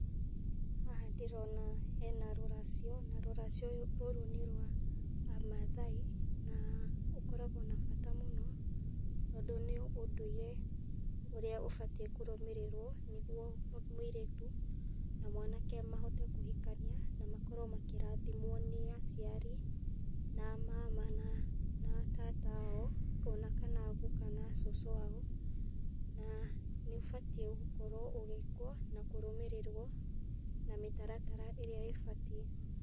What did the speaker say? Haha ndĩrona hena rũracio na rũracio rũrũ nĩ rwa a Maathai na ũkoragwo na bata mũno tondũ nĩ ũndũire ũrĩa ũbatiĩ kũrũmĩrĩrwo nĩgũo mũirĩtu na mwanake mahote kũhikania na makorwo makĩrathimwo nĩ aciari na a maama na a tata ao o na kana a guuka kana cũcũ wao na nĩ ũbatiĩ gukorwo ũgĩĩkwo na kũrũmĩrĩrwo na mĩtaratara ĩrĩa ĩbatiĩ.